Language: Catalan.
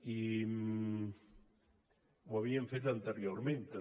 i ho havíem fet anteriorment també